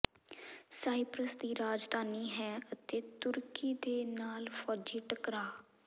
Cyprus ਦੀ ਰਾਜਧਾਨੀ ਹੈ ਅਤੇ ਤੁਰਕੀ ਦੇ ਨਾਲ ਫੌਜੀ ਟਕਰਾਅ